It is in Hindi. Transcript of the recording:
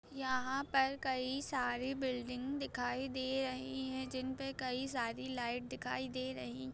यहाँ पर कई सारी बिल्डिंग दिखाई दे रही है जिन पे कई सारी लाईट दिखाय दे रही --